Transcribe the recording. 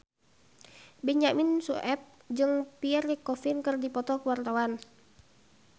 Benyamin Sueb jeung Pierre Coffin keur dipoto ku wartawan